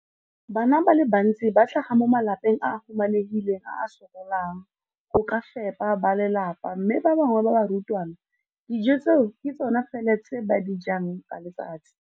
Bana ba le bantsi ba tlhaga mo malapeng a a humanegileng a a sokolang go ka fepa ba lelapa mme ba bangwe ba barutwana, dijo tseo ke tsona fela tse ba di jang ka letsatsi.